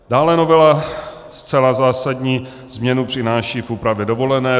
Dále novela zcela zásadní změnu přináší v úpravě dovolené.